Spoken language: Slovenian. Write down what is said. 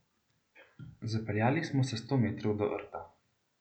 Zapeljali smo se sto metrov do rta.